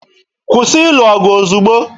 Kwụsị ịlụ ọgụ ozugbo!